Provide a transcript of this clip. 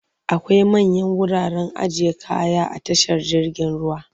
Akwai manyan wuraren ajiye kaya a tashar jirgin ruwa.